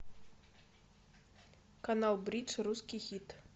канал бридж русский хит